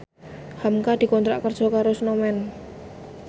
hamka dikontrak kerja karo Snowman